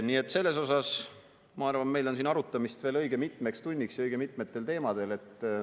Nii et ma arvan, et meil on siin arutamist veel õige mitmeks tunniks õige mitmetel teemadel.